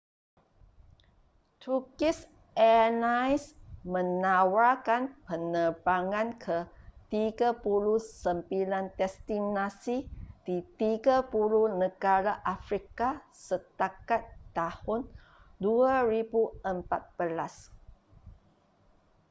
turkish airlines menawarkan penerbangan ke 39 destinasi di 30 negara afrika setakat tahun 2014